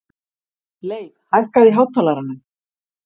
Leif, hækkaðu í hátalaranum.